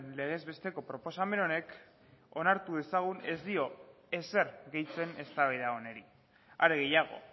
legez besteko proposamen honek onartu dezagun ez dio ezer gehitzen eztabaida honi are gehiago